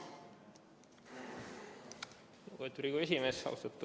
Lugupeetud Riigikogu esimees!